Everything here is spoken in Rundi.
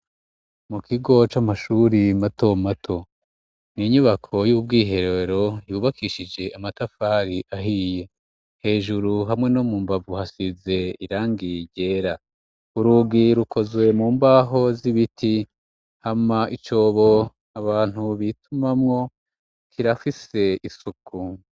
Mu kigo c'amashure mato mato n'inyubako y'ubwiherero yubakishije amatafari ahiye hejuru hamwe no mu mbavu hasize irangi ryera. Urugi rukozwe mu mbaho z'ibiti hama icobo abantu bitumamwo kirafise isuku.